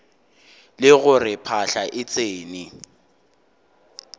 le gore phahla e tsene